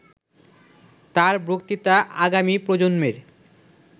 ''তাঁর বক্তৃতা আগামী প্রজন্মের